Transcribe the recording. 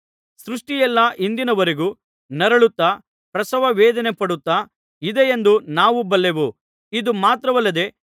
ಸೃಷ್ಟಿಯೆಲ್ಲಾ ಇಂದಿನವರೆಗೂ ನರಳುತ್ತಾ ಪ್ರಸವ ವೇದನೆಪಡುತ್ತಾ ಇದೆಯೆಂದು ನಾವು ಬಲ್ಲೆವು ಇದು ಮಾತ್ರವಲ್ಲದೆ